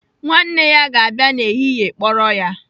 Nwanne ya ga-abịa n'ehihie kpọrọ ya.